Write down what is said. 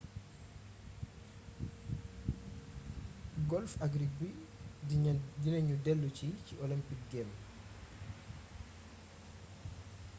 golf ak rugby dina ñu déllusi ci olympic games